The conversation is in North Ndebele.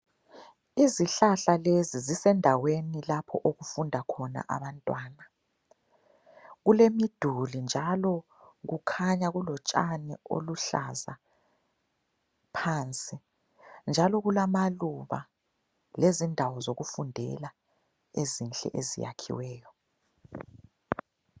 Izihlahla lezi zisendaweni lapho okufunda khona abantwana. Kulemiduli njalo kukhanya kulotshani oluluhlaza phansi njalo kulamaluba lezindawo zokufundela ezinhle eziyakhiweyo.